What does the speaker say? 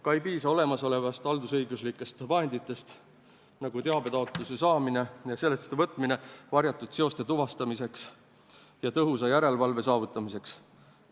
Ka ei piisa olemasolevatest haldusmenetluslikest vahenditest varjatud seoste tuvastamiseks ja tõhusa järelevalve saavutamiseks.